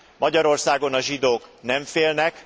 Magyarországon a zsidók nem félnek!